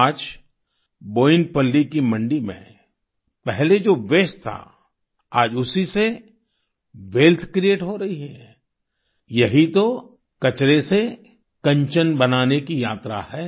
आज बोयिनपल्ली की मंडी में पहले जो वास्ते था आज उसी से वेल्थ क्रिएट हो रही है यही तो कचरे से कंचन बनाने की यात्रा है